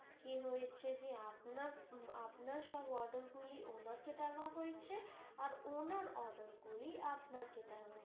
কি হয়েছে যে আপনার সঙ্গে order গুলি ওনাকে দেওয়া হয়েছে আর ওনার order গুলি আপনাকে দেওয়া হয়েছে।